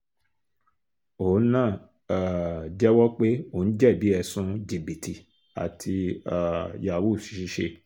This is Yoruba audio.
òun náà um jẹ́wọ́ pé òun jẹ̀bi ẹ̀sùn jìbìtì àti um yahoo [cs[ ṣiṣẹ́